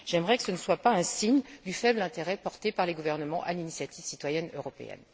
J'aimerais que ce ne soit pas un signe du faible intérêt porté par les gouvernements à l'initiative citoyenne européenne.